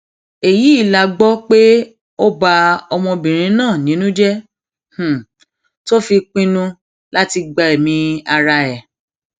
èyí la gbọ pé ó ba ọmọbìnrin náà nínú jẹ tó fi pinnu láti gbẹmí ara ẹ